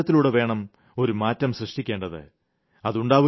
നമ്മുടെ പെരുമാറ്റത്തിലൂടെവേണം ഒരു മാറ്റം സൃഷ്ടിക്കേണ്ടത്